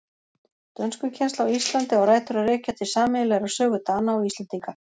Dönskukennsla á Íslandi á rætur að rekja til sameiginlegrar sögu Dana og Íslendinga.